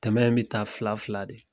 Tɛmɛn bɛ taa fila fila de.